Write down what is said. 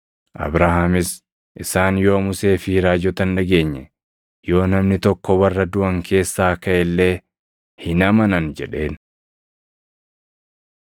“Abrahaamis, ‘Isaan yoo Musee fi raajota hin dhageenye, yoo namni tokko warra duʼan keessaa kaʼe illee hin amanan’ jedheen.”